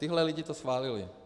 Tihle lidé to schválili.